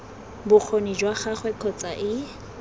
bokgoni jwa gagwe kgotsa ii